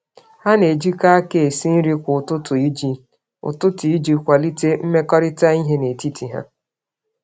Ha na-ejikọ aka esi nri kwa ụtụtụ iji nwee oge ọnụ.